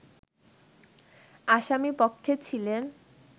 আসামি পক্ষে ছিলেন